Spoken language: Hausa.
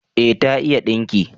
Eh, ta iya dinki